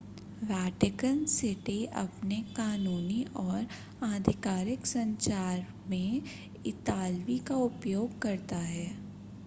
Vatican City अपने कानूनी और आधिकारिक संचार में इतालवी का उपयोग करता है